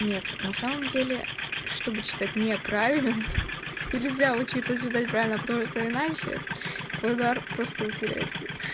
нет на самом деле чтобы читать неправильно нельзя учиться читать правильно потому что иначе твой дар просто утеряется